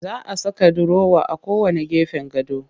Za a saka durowa a gefen kowanne gado